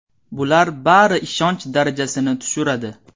Bular bari ishonch darajasini tushiradi.